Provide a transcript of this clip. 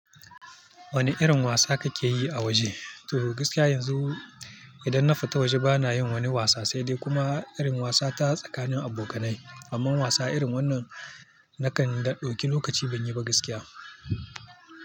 Wane irin wasa kake yi a waje? To gaskiya yanzu idan na fita waje bana yin wani wasa, sai dai kuma irin wasa ta tsakanin abokanai. Amma wasa irin wannan nakan dauki lokaci ban yi ba gaskiya.